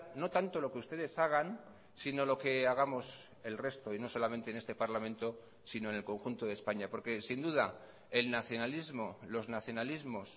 no tanto lo que ustedes hagan sino lo que hagamos el resto y no solamente en este parlamento sino en el conjunto de españa porque sin duda el nacionalismo los nacionalismos